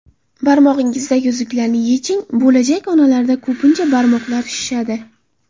Barmog‘ingizdagi uzuklarni yeching Bo‘lajak onalarda ko‘pincha barmoqlar shishadi.